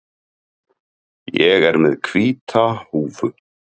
Ég er með hvíta húfu.